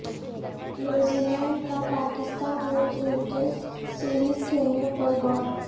نیوزی Zealand Pakistan میں cricket series کھیلنے پر غور